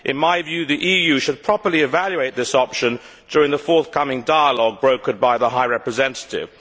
In my view, the EU should properly evaluate this option during the forthcoming dialogue brokered by the High Representative.